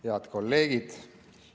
Head kolleegid!